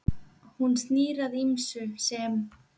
Hún snýr að ýmsu sem